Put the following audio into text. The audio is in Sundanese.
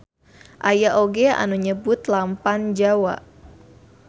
Aya oge anu nyebut lampam jawa.